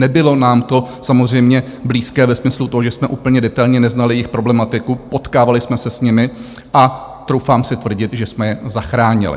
Nebylo nám to samozřejmě blízké ve smyslu toho, že jsme úplně detailně neznali jejich problematiku, potkávali jsme se s nimi a troufám si tvrdit, že jsme je zachránili.